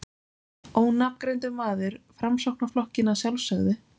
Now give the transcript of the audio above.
Ónafngreindur maður: Framsóknarflokkinn, að sjálfsögðu?